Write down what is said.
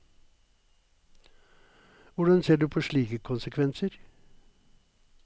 Hvordan ser du på slike konsekvenser?